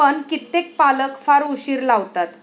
पण कित्येक पालक फार उशीर लावतात.